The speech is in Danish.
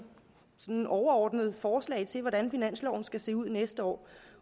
overordnede forslag til hvordan finansloven skal se ud næste år